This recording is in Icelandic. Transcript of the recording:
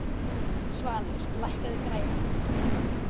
Svanur, lækkaðu í græjunum.